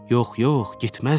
Yox, yox, getməzdi.